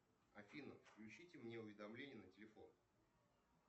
афина включите мне уведомления на телефон